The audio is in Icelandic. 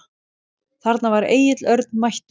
Þarna var Egill Örn mættur.